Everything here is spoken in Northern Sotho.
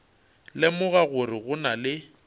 lemoga gore go na le